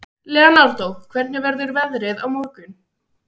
Leonardó, hvernig verður veðrið á morgun?